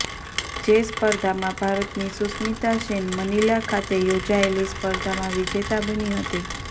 જે સ્પર્ધામાં ભારતની સુસ્મિતા સેન મનીલા ખાતે યોજાયેલી સ્પર્ધામાં વિજેતા બની હતી